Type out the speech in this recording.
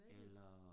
Eller